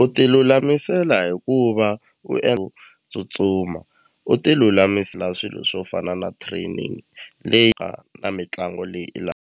U ti lulamisela hikuva u tsutsuma u ti lulamisela swilo swo fana na training leyi nga na mitlangu leyi i .